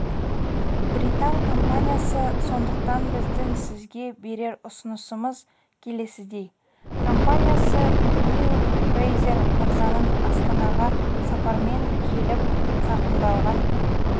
британ компаниясы сондықтан біздің сізге берер ұсынысымыз келесідей компаниясы нил фрейзер мырзаның астанаға сапармен келіп зақымдалған